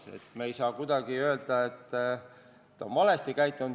Nii et me ei saa kuidagi öelda, et ta on valesti käitunud.